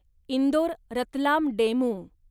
Indore Ratlam DEMU